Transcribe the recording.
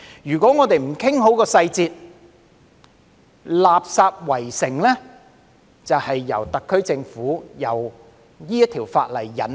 如果我們不訂好細節，"垃圾圍城"就是由特區政府提出這項法例引起。